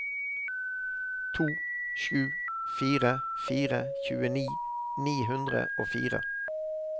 to sju fire fire tjueni ni hundre og fire